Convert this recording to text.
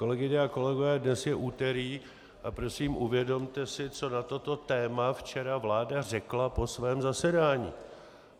Kolegyně a kolegové, dnes je úterý, a prosím uvědomte si, co na toto téma včera vláda řekla po svém zasedání.